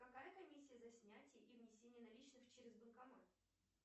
какая комиссия за снятие и внесение наличных через банкомат